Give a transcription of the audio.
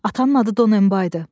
Atanın adı Donenbaydı.